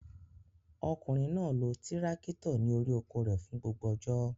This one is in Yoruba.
Ọkùnrin náà lọ tírákítọ̀ ní orí oko rẹ̀ fún gbogbo ọjọ́.